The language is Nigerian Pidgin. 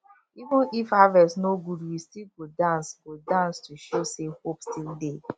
even if harvest no good we still go dance go dance to show say hope still dey